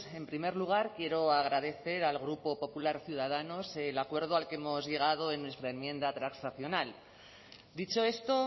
en primer lugar quiero agradecer al grupo popular ciudadanos el acuerdo al que hemos llegado en nuestra enmienda transaccional dicho esto